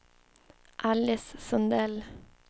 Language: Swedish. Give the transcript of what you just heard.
Alice Sundell